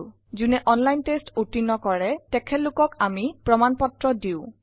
আমি কৄতজ্ঞতা পত্ৰও দিও যোনে অনলাইন টেষ্ট উত্তীৰ্ন কৰে